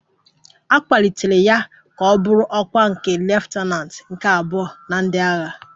A kwalitere ya ka ọ bụrụ ọkwa nke leftananti nke abụọ na ndị agha